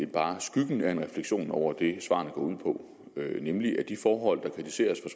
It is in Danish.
bare skyggen af en refleksion over det svarene går ud på nemlig at de forhold der kritiseres